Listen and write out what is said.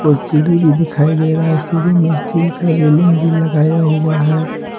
और सीढ़ी भी दिखाई दे रहा है सीढ़ी में स्टील का रेलिंग भी लगाया हुआ है।